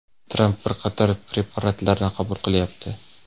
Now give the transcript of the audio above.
Tramp bir qator prepaaratlarni qabul qilyapti.